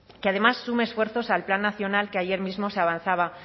que además sume esfuerzos al plan nacional que ayer mismo se avanzaba